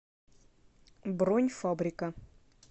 бронь фабрика